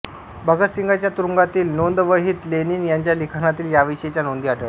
भगतसिंगाच्या तुरुंगातील नोंदवहीत लेनिन यांच्या लिखाणातील याविषयीच्या नोंदी आढळतात